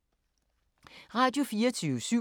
Radio24syv